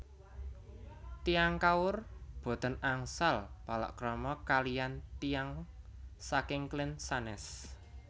Tiyang Kaur boten angsal palakrama kaliyan tiyang saking klen sanes